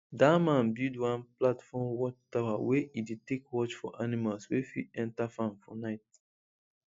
that man build one platform watchtower wey e take dey watch for animals wey fit enter farm for night